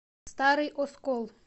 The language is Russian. старый оскол